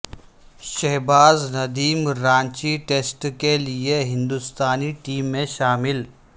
Shahbaz Nadeem Ranchi test کے لئے ہندستانی ٹیم میں شامل